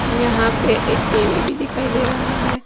यहां पे एक टी_वी भी दिखाई दे रहा है।